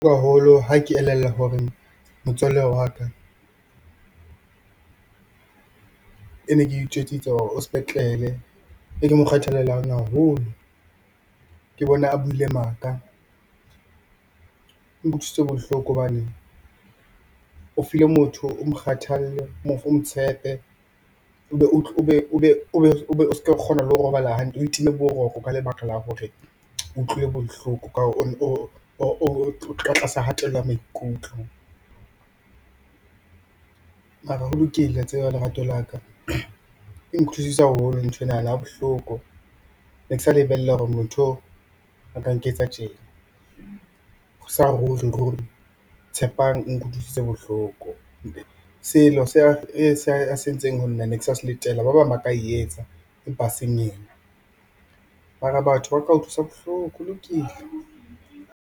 Ha ke elellwa hore motswalle wa ka e ne ke itjwetsitse hore o sepetlele, e ke mo kgethelelang haholo ke bona a buile maka, o nkutlwisitse bohloko hobane o fi le motho o mo kgathalle, o mo tshepe, o be o ska kgona le ho robala hantle o e time boroko ka lebaka la hore utlwile bohloko ka tlasa hatello ya maikutlo. Mara ho lokile wa tseba lerato laka, ke haholo nthwenana bohloko ne ke sa lebella hore motho o a ka nketsa tje, Tshepang o nkutlwisitse bohloko se a se e ntseng ho nna ne ke sa se letela ba bang ba ka e etsa empa eseng yena mara batho ba ka utlwisa bohloko holokile.